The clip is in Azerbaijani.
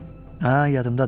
Hə, yadımdadır.